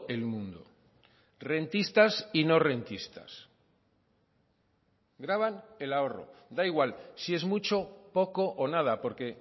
el mundo rentistas y no rentistas graban el ahorro da igual si es mucho poco o nada porque